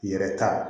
Yɛrɛ ta